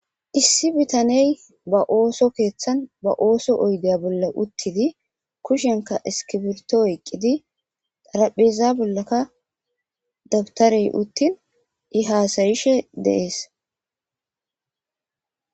Issi bitaneyi baa oththo keththanni baa oththuwa oyidde bolla uttidi kushshenkka isikibirto oyikkidi tarapheza bollakka dabitareyi uttin I hasayishshe de'ees